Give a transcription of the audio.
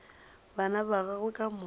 bana ba gagwe ka moka